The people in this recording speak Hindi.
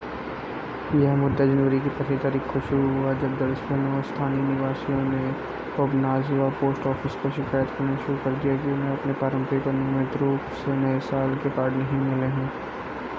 यह मुद्दा जनवरी की पहली तारीख को शुरू हुआ जब दर्जनों स्थानीय निवासियों ने ओबनाज़वा पोस्ट ऑफ़िस को शिकायत करना शुरू कर दिया कि उन्हें अपने पारंपरिक और नियमित रूप से नए साल के कार्ड नहीं मिले हैं